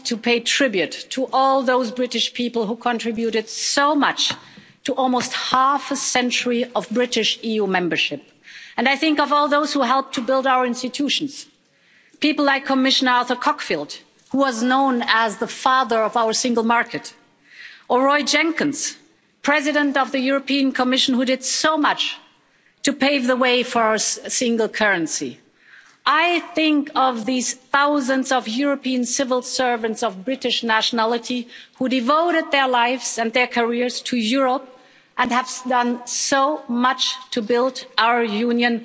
Mr President, honourable Members, as President of the European Commission, first of all I want to pay tribute to all those British people who contributed so much to almost half a century of British EU membership. I think of all those who helped to build our institutions people like Commissioner Arthur Cockfield, who was known as the father of our single market, or Roy Jenkins, President of the European Commission, who did so much to pave the way for our single currency. I think of these thousands of European civil servants of British nationality who devoted their lives and their careers to Europe and have done so much to build our Union.